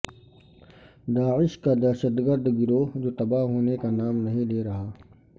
داعش کا دہشت گرد گروہ جو تباہ ہونے کا نام نہیں لے رہا